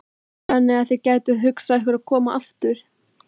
Þannig að þið gætuð hugsað ykkur að koma aftur?